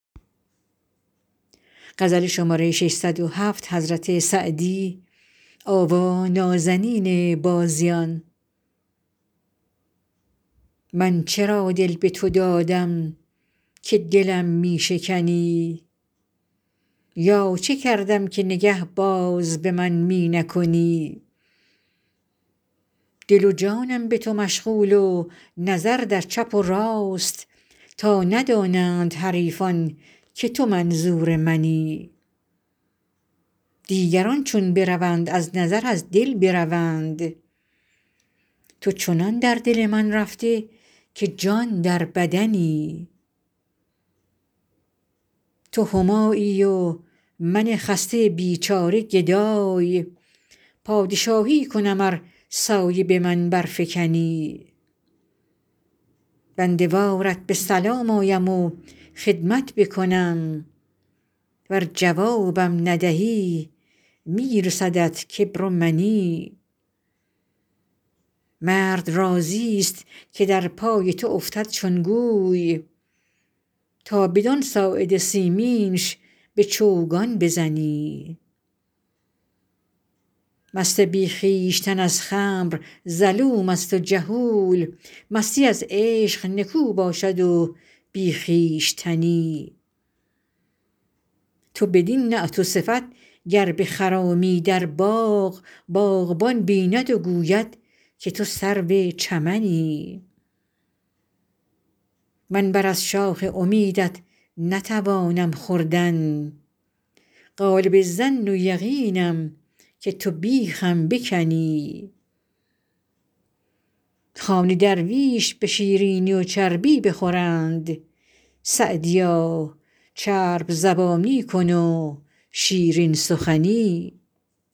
من چرا دل به تو دادم که دلم می شکنی یا چه کردم که نگه باز به من می نکنی دل و جانم به تو مشغول و نظر در چپ و راست تا ندانند حریفان که تو منظور منی دیگران چون بروند از نظر از دل بروند تو چنان در دل من رفته که جان در بدنی تو همایی و من خسته بیچاره گدای پادشاهی کنم ار سایه به من برفکنی بنده وارت به سلام آیم و خدمت بکنم ور جوابم ندهی می رسدت کبر و منی مرد راضیست که در پای تو افتد چون گوی تا بدان ساعد سیمینش به چوگان بزنی مست بی خویشتن از خمر ظلوم است و جهول مستی از عشق نکو باشد و بی خویشتنی تو بدین نعت و صفت گر بخرامی در باغ باغبان بیند و گوید که تو سرو چمنی من بر از شاخ امیدت نتوانم خوردن غالب الظن و یقینم که تو بیخم بکنی خوان درویش به شیرینی و چربی بخورند سعدیا چرب زبانی کن و شیرین سخنی